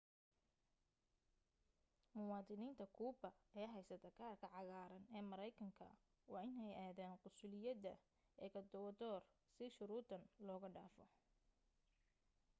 muwaadiniinta kuuba ee haysata kaadhka cagaaran ee maraykanka waa inay aadaan qunsuliyadda ekowodoor si shuruuddan looga dhaafo